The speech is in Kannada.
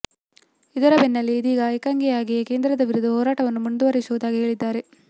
ಇದರ ಬೆನ್ನಲ್ಲೇ ಇದೀಗ ಏಕಾಂಗಿಯಾಗಿಯೇ ಕೇಂದ್ರದ ವಿರುದ್ಧ ಹೋರಾಟವನ್ನು ಮುಂದುವರಿಸುವುದಾಗಿ ಹೇಳಿದ್ದಾರೆ